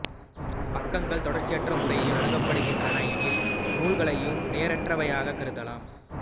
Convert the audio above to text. பக்கங்கள் தொடச்சியற்ற முறையில் அணுகப்படுகின்றன எனில் நூல்களையும் நேரற்றவையாகக் கருதலாம்